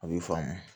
A b'i faamu